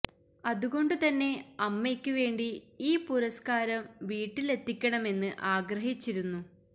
അതുകൊണ്ടു തന്നെ അമ്മയ്ക്ക് വേണ്ടി ഈ പുരസ്കാരം വീട്ടില് എത്തിക്കണമെന്ന് ആഗ്രഹിച്ചിരുന്നു